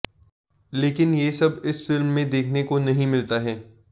लेकिन ये सब इस फिल्म में देखने को नहीं मिलता है